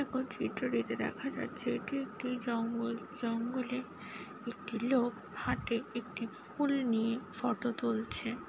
ওই চিত্রটিতে দেখা যাচ্ছে এটি একটি জঙ্গল। জঙ্গলে একটি লোক হাতে একটি ফুল নিয়ে ফটো তুলছে।